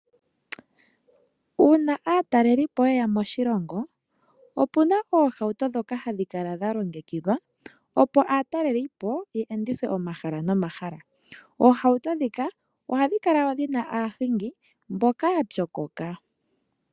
Uuna aatalelipo ye ya moshilongo , opu na oohauto ndhoka hadhi kala dha longekidhwa, opo aatalelipo ye endithwe omahala nomahala . Oohauto ndhika ohadhi kala dhi na aahingi mbyoka ya pyokoka .